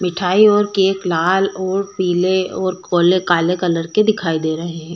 मिठाई और केक लाल ओर पीले और कौले काले कलर के दिखाई दे रहे हैं।